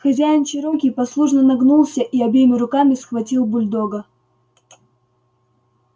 хозяин чероки послушно нагнулся и обеими руками схватил бульдога